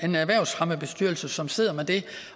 en erhvervsfremmebestyrelse som sidder med det